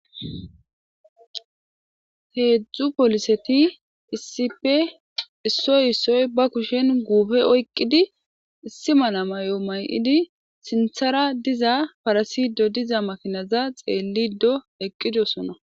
Hezzu polissethi issippe issoyi issoyi ba kushen guffe oyqidi iss mala mayyo mayidi sinthara dizza parasido dizza makinai xelido eqidossona.